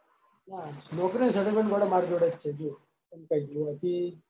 ના નોકરીનું settlement ગોડા મારા જોડે જ છે જો તને કઈ દઉં પછી.